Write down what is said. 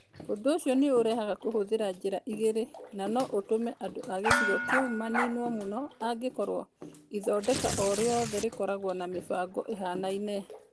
Ũndũ ũcio nĩ ũrehaga kũhũthĩra njĩra igĩrĩ na no ũtũme andũ a gĩcigo kĩu maniinwo mũno angĩkorũo ithondeka o rĩothe rĩkoragwo na mĩbango ĩhaanaine.